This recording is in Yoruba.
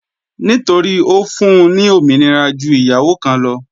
Nítorí Ó fún-un ní òmìnira ju ìyàwó kan lọ.